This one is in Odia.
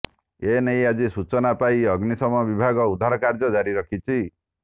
ଏ ନେଇ ଆଜି ସୂଚନା ପାଇ ଅଗ୍ନିଶମ ବିଭାଗ ଉଦ୍ଧାର କାର୍ଯ୍ୟ ଜାରି ରଖିଛି